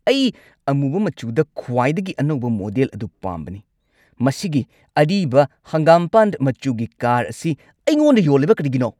ꯑꯩ ꯑꯃꯨꯕ ꯃꯆꯨꯗ ꯈ꯭ꯋꯥꯏꯗꯒꯤ ꯑꯅꯧꯕ ꯃꯣꯗꯦꯜ ꯑꯗꯨ ꯄꯥꯝꯕꯅꯤ꯫ ꯃꯁꯤꯒꯤ ꯑꯔꯤꯕ ꯍꯪꯒꯥꯝꯄꯥꯜ ꯃꯆꯨꯒꯤ ꯀꯥꯔ ꯑꯁꯤ ꯑꯩꯉꯣꯟꯗ ꯌꯣꯜꯂꯤꯕ ꯀꯔꯤꯒꯤꯅꯣ?